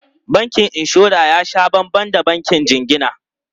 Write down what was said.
Bankin inshora ya sha banban da bankin jingina.